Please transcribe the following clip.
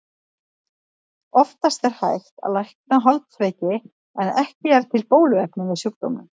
Oftast er hægt að lækna holdsveiki en ekki er til bóluefni við sjúkdómnum.